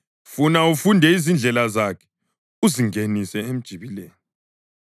funa ufunde izindlela zakhe uzingenise emjibileni.